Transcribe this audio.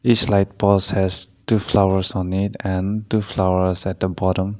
this light polls has two flowers on it and two flowers at the bottom.